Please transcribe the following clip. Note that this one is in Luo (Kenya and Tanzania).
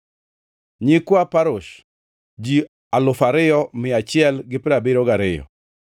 Nyikwa Parosh, ji alufu ariyo mia achiel gi piero abiriyo gariyo (2,172),